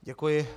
Děkuji.